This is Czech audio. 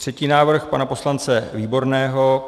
Třetí návrh, pana poslance Výborného.